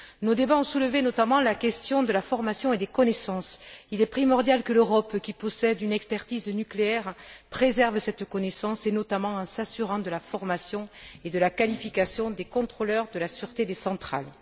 Nos débats ont soulevé notamment la question de la formation et des connaissances. Il est primordial que l'Europe, qui possède une expertise nucléaire, préserve cette connaissance, et notamment en s'assurant de la formation et de la qualification des contrôleurs de la sûreté des centrales.